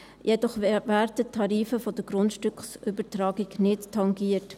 Jedoch werden die Tarife der Grundstückübertragung nicht tangiert.